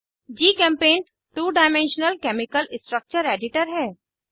जीचेम्पेंट two dimensional chemical structure editor है